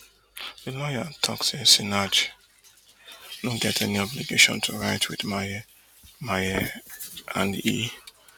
di lawyer tok say sinach no get any obligation to write wit maye maye and e